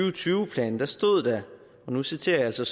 og tyve plan stod der og nu citerer jeg altså